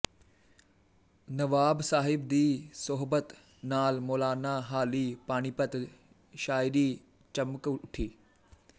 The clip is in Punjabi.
ਨਵਾਬ ਸਾਹਿਬ ਦੀ ਸੋਹਬਤ ਨਾਲ ਮੌਲਾਨਾ ਹਾਲੀ ਪਾਨੀਪਤ ਸ਼ਾਇਰੀ ਚਮਕ ਉੱਠੀ